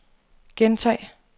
gentag